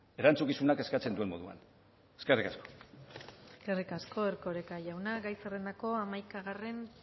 erantzukizunak eskatzen duen moduan eskerrik asko eskerrik asko erkoreka jauna gai zerrendako hamaikagarren